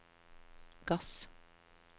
gass